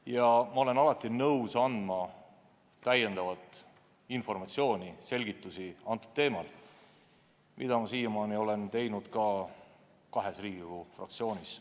Ja ma olen alati nõus andma täiendavat informatsiooni ja selgitusi sellel teemal, nagu ma olen teinud juba kahes Riigikogu fraktsioonis.